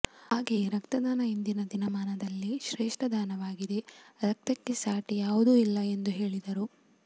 ಹಾಗೆಯೆ ರಕ್ತದಾನ ಇಂದಿನ ದಿನಮಾನದಲ್ಲಿ ಶ್ರೇಷ್ಠದಾನವಾಗಿದೆ ರಕ್ತಕ್ಕೆ ಸಾಟಿ ಯಾವುದೂ ಇಲ್ಲ ಎಂದು ಹೇಳಿದರು